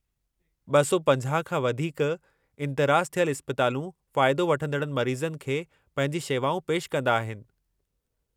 250 खां वधीकु इंदिराज थियलु इस्पतालूं फ़ाइदो वठंदड़ मरीज़नि खे पंहिंजी शेवाऊं पेशि कंदा आहिनि।